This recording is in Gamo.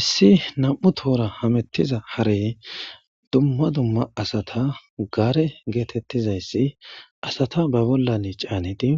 Issi nam7u tohora hamettiza hare dumma dumma asata gaare geetettizayssi asata ba bollan caaniti